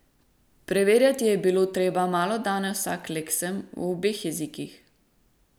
Preverjati je bilo treba malodane vsak leksem, v obeh jezikih.